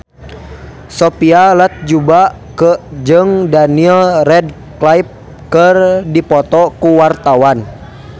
Sophia Latjuba jeung Daniel Radcliffe keur dipoto ku wartawan